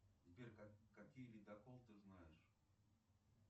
сбер какие ледокол ты знаешь